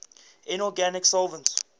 inorganic solvents